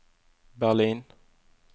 Berlin